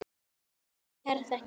Kærar þakkir fyrir okkur.